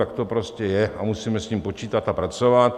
Tak to prostě je a musíme s tím počítat a pracovat.